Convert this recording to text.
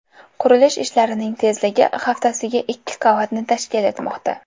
Qurilish ishlarining tezligi haftasiga ikki qavatni tashkil etmoqda.